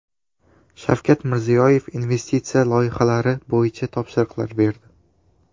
Shavkat Mirziyoyev investitsiya loyihalari bo‘yicha topshiriqlar berdi.